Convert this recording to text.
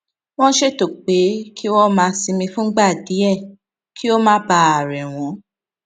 wón ṣètò pé kí wón máa sinmi fúngbà díè kí ó má bàa rè wón